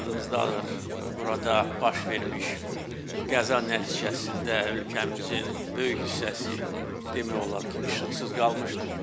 Yadınızdadır, burada baş vermiş qəza nəticəsində ölkəmizin böyük hissəsi demək olar ki, işıqsız qalmışdır.